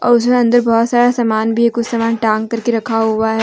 और उसमे अंदर बहोत सारा सामान भी है कुछ सामान टागं करके रखा हुआ है।